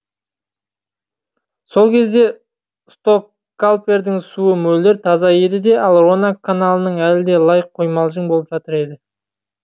сол кезде стокальпердің суы мөлдір таза еді де ал рона каналынікі әлі де лай қоймалжың боп жатыр еді